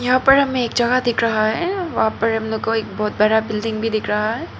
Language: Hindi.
यहां पर हमें एक जगह दिख रहा है वहां पर हम लोगों को एक बहोत बड़ा बिल्डिंग भी दिख रहा है।